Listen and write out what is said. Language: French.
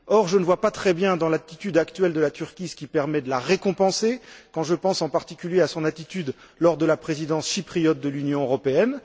Or, je ne vois pas très bien dans l'attitude actuelle de la Turquie ce qui permet de la récompenser, quand je pense en particulier à son attitude lors de la Présidence chypriote de l'Union européenne.